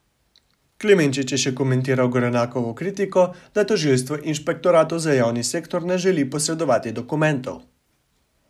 Klemenčič je še komentiral Gorenakovo kritiko, da tožilstvo inšpektoratu za javni sektor ne želi posredovati dokumentov.